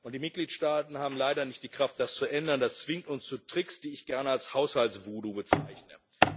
Die Mitgliedstaaten haben leider nicht die Kraft, das zu ändern. Das zwingt uns zu Tricks, die ich gerne als Haushalts Voodoo bezeichne.